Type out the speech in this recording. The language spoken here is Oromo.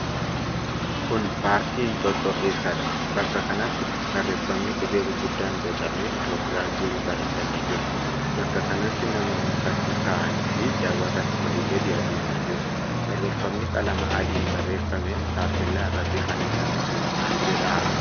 Kun paarkii Inxooxxoo keessaadha. Bakka kanatti barreeffami qubee gurguddaan bocamee Itooophiyaa jedhu barreeffamee jira. Bakka kanatti namooti fakkii ka'anii fi daawwatan olii gadi adeemaa jiru. Barreefami qalama adiin barreeffamee taappellaa irratti fannifamee jiru maal jedha?